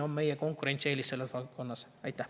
Suur tänu!